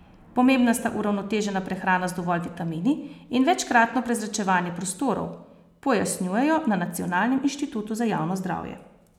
Pomembna sta uravnotežena prehrana z dovolj vitamini in večkratno prezračevanje prostorov, pojasnjujejo na Nacionalnem inštitutu za javno zdravje.